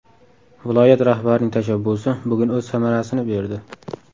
Viloyat rahbarining tashabbusi bugun o‘z samarasini berdi.